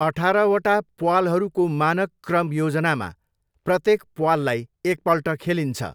अठारवटा प्वालहरूको मानक क्रम योजनामा प्रत्येक प्वाललाई एकपल्ट खेलिन्छ।